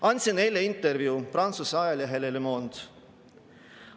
Andsin eile intervjuu Prantsuse ajalehele Le Monde.